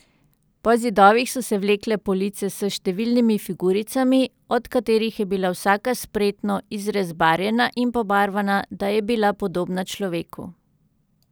Po zidovih so se vlekle police s številnimi figuricami, od katerih je bila vsaka spretno izrezbarjena in pobarvana, da je bila podobna človeku.